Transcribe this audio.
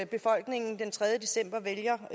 befolkningen den tredje december vælger